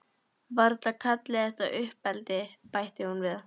Varla kalliði þetta uppeldi, bætti hún við.